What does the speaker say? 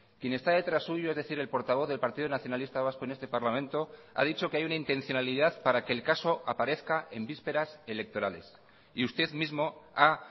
quien está detrás suyo es decir el portavoz del partido nacionalista vasco en este parlamento ha dicho que hay una intencionalidad para que el caso aparezca en vísperas electorales y usted mismo ha